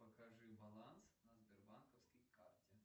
покажи баланс на сбербанковской карте